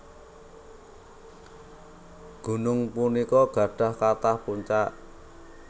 Gunung punika gadhah kathah puncak